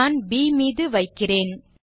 நான் ப் மீது வைக்கிறேன்